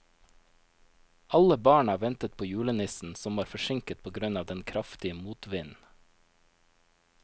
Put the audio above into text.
Alle barna ventet på julenissen, som var forsinket på grunn av den kraftige motvinden.